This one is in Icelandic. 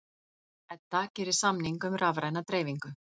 Edda gerir samning um rafræna dreifingu